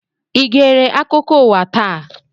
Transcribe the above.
I gere akụkọ ụwa taa?